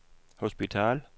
hospital